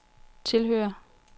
tilhører